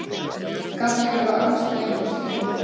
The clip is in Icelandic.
Gat ég ekki verið ansi gleyminn stundum?